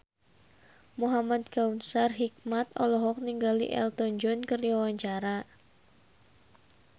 Muhamad Kautsar Hikmat olohok ningali Elton John keur diwawancara